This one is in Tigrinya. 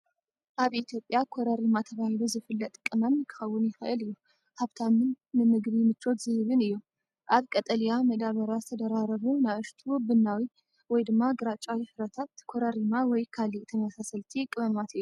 ኣብ ኢትዮጵያ "ኮረሪማ" ተባሂሉ ዝፍለጥ ቀመም ክኸውን ይኽእል እዩ። ሃብታምን ንምግቢ ምቾት ዝህብን እዩ፡ ኣብ ቀጠልያ መዳበርያ ዝተደራረቡ ንኣሽቱ ቡናዊ/ግራጭ ፍረታት ኮረሪማ ወይ ካልእ ተመሳሳሊ ቀመማት እዮም።